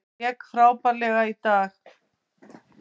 Hann lék frábærlega í dag.